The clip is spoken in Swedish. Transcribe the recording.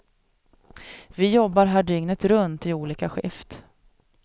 Vi jobbar här dygnet runt i olika skift.